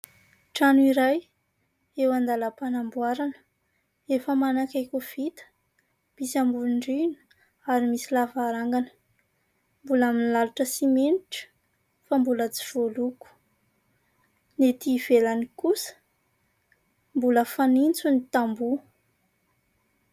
Trano iray eo an-dalam-panamboarana, efa manakaiky ho vita, misy ambanin-drihana ary misy lavarangana, mbola milalotra simenitra fa mbola tsy voaloko, ny ety ivelany kosa mbola fanitso ny tamboho.